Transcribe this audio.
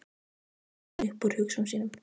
Og hló með öxlunum upp úr hugsunum sínum.